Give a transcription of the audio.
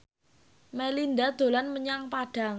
Melinda dolan menyang Padang